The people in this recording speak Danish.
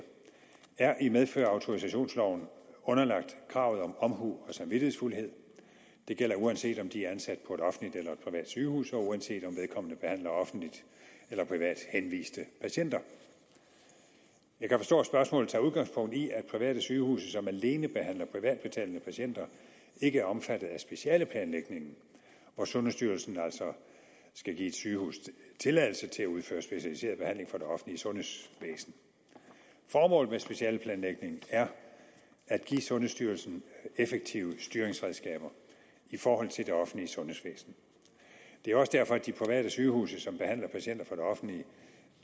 er i medfør af autorisationsloven underlagt kravet om omhu og samvittighedsfuldhed det gælder uanset om de er ansat på et offentligt eller privat sygehus og uanset om vedkommende behandler offentligt eller privat henviste patienter jeg kan forstå at spørgsmålet tager udgangspunkt i at private sygehuse som alene behandler privatbetalende patienter ikke er omfattet af specialeplanlægningen og at sundhedsstyrelsen altså skal give et sygehus tilladelse at udføre specialiseret behandling for det offentlige sundhedsvæsen formålet med specialeplanlægningen er at give sundhedsstyrelsen effektive styringsredskaber i forhold til det offentlige sundhedsvæsen det er også derfor at de private sygehuse som behandler patienter for det offentlige